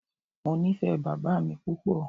Mo nifẹ baba mi pupọ.